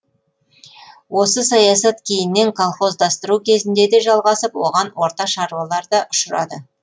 осы саясат кейіннен колхоздастыру кезінде де жалғасып оған орта шаруалар да ұшырады